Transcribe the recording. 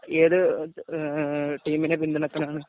ഏത് എ എ ടീമിനെ പിന്തുണക്കുന്നവരാണ്.